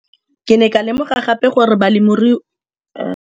Ke ne ka lemoga gape gore balemirui